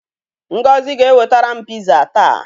Ngozi ga-ewetara m piza taa.